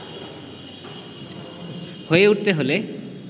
হয়ে উঠতে হলে